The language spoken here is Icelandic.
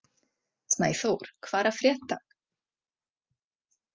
Snæþór, hvað er að frétta?